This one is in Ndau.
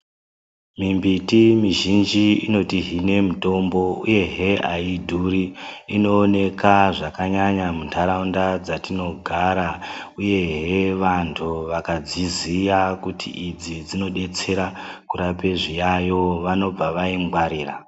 Mwimbiti mizhinji inotihine mutombo uyehe aidhuri inooneka zvakanyanya mundaraunda dzatinogara uyehe vantu vakadziziya kuti idzi dzinodetsera kurape zviayo vanobva vaingwarira .